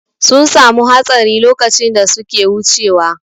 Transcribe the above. Sun samu hatsari lokacin da suke wucewa.